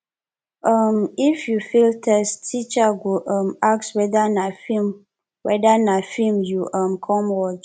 um if you fail test teacher go um ask whether na film whether na film you um come watch